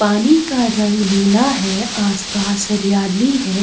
पानी का रंग नीला है का आस-पास हरियाली है।